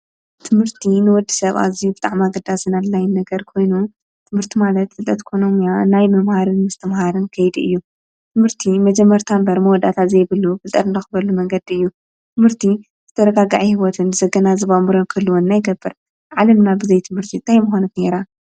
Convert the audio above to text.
ትምህርቲ ንወዲ ሰብ ኣ ኣዝዩ ብጣዕሚ ኣገዳስን ኣድላዪን ነገር ኮይኑ ትምህርቲ ማለት ፍልጠት ኮነ ሞያ ናይ ምምሃርን ምስትምሃርን ከይዲ እዩ፡፡ ትምህርቲ መጀመርታ እምበር መወዳታ ዘይብሉ ፍልጠት ንረኽበሉ መንገዲ እዩ፡፡ ትምህርቲ ዝተረጋግዐ ህይወትን ዘገናዝብ ኣእምሮን ክህልወና ኣለዎ፡፡ ዓለምና ብዘይትምህርቲ እንታይ ምኾነት ነይራ?